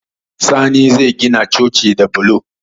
Sani zai gina coci da bulo